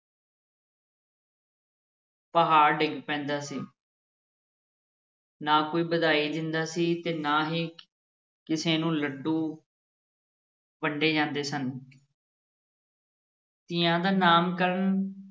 ਪਹਾੜ ਡਿਗ ਪੈਂਦਾ ਸੀ ਨਾ ਕੋਈ ਵਧਾਈ ਦਿੰਦਾ ਸੀ ਤੇ ਨਾ ਹੀ ਕਿਸੇ ਨੂੰ ਲੱਡੂ ਵੰਡੇ ਜਾਂਦੇ ਸਨ ਧੀਆਂ ਦਾ ਨਾਮਕਰਨ